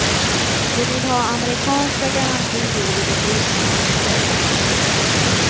De vill ha amerikanska garantier vid ett ryskt angrepp.